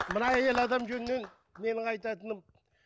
мына әйел адам жөнінен менің айтатыным